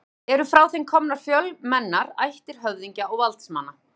Eru frá þeim komnar fjölmennar ættir höfðingja og valdsmanna.